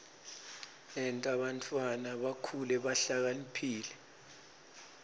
yenta bantfwana bakhule bahlakaniphile